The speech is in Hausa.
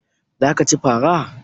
Za ka ci fara?